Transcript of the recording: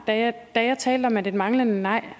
da jeg talte om at et manglende nej